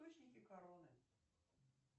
источники короны